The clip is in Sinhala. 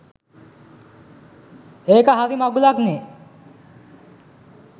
ඒක හරි මඟුලක්නේ!